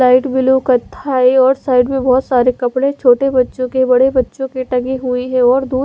light blue कथाई और side में बहोत सारे कपड़े छोटे बच्चो के बड़े बच्चो के टंगे हुयी है और दूत--